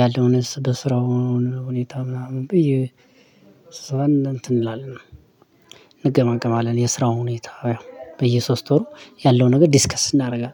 ያለውን በስራውን ሁኔታ ምናምን ብዬ ስብሰባን እንትን እንላለን እንገማገማለን የስራው ሁኔታ። በየሶስት ወሩ ያለው ነገር ዲስከስ እናደርጋለን